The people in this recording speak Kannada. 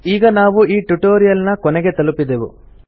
ಈಗ ನಾವು ಈ ಟ್ಯುಟೊರಿಯಲ್ ನ ಕೊನೆಗೆ ತಲುಪಿದೆವು